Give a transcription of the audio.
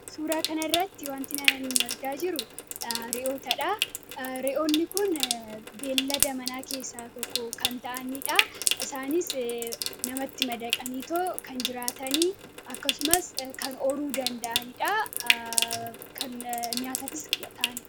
Suuraa kanarratti wanti an argaa jiru re'oota dhaa. Re'oonni kun beeylada manaa keessaa tokko kan ta'anii dhaa. Isaanis namatti madaqaniitoo kan jiraatanii. Akkasumas kan horuu danda'ani dhaa. Kan nyaataafis ta'ani dha.